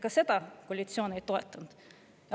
Ka neid koalitsioon ei toetanud.